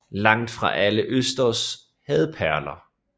Langt fra alle østers havde perler